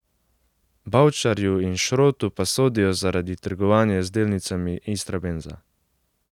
Bavčarju in Šrotu pa sodijo zaradi trgovanja z delnicami Istrabenza.